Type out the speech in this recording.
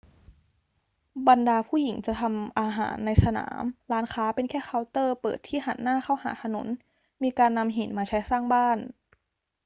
บรรดาผู้หญิงจะทำอาหารในสนาม ร้านค้าเป็นแค่เคาน์เตอร์เปิดที่หันหน้าเข้าหาถนน มีการนำหินมาใช้สร้างบ้าน